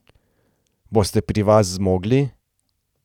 Boste pri vas zmogli?